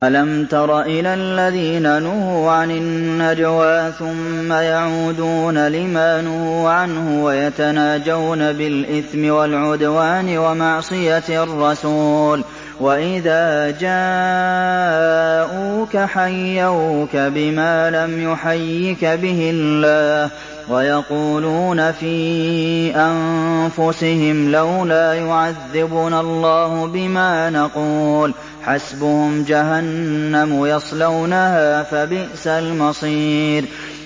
أَلَمْ تَرَ إِلَى الَّذِينَ نُهُوا عَنِ النَّجْوَىٰ ثُمَّ يَعُودُونَ لِمَا نُهُوا عَنْهُ وَيَتَنَاجَوْنَ بِالْإِثْمِ وَالْعُدْوَانِ وَمَعْصِيَتِ الرَّسُولِ وَإِذَا جَاءُوكَ حَيَّوْكَ بِمَا لَمْ يُحَيِّكَ بِهِ اللَّهُ وَيَقُولُونَ فِي أَنفُسِهِمْ لَوْلَا يُعَذِّبُنَا اللَّهُ بِمَا نَقُولُ ۚ حَسْبُهُمْ جَهَنَّمُ يَصْلَوْنَهَا ۖ فَبِئْسَ الْمَصِيرُ